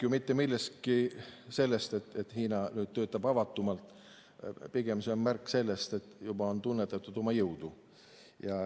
See ei ole ju märk sellest, et Hiina töötab nüüd avatumalt, vaid pigem on see märk sellest, et ta on juba tunnetanud oma jõudu.